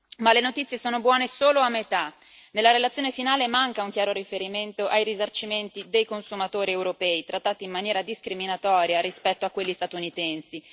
Ma le notizie sono buone solo a metà. Nella relazione finale manca un chiaro riferimento ai risarcimenti dei consumatori europei trattati in maniera discriminatoria rispetto a quelli statunitensi.